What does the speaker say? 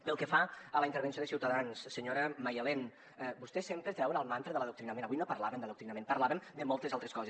pel que fa a la intervenció de ciutadans senyora maialen vostès sempre treuen el mantra de l’adoctrinament avui no parlàvem d’adoctrinament parlàvem de moltes altres coses